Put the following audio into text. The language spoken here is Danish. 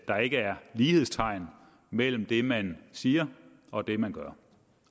der ikke er lighedstegn mellem det man siger og det man gør